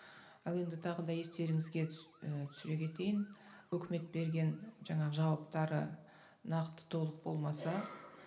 ал енді тағы да естеріңізге і түсіре кетейін өкімет берген жаңағы жауаптары нақты толық болмаса